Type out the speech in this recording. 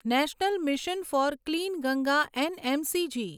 national Mission for Clean Ganga NMCG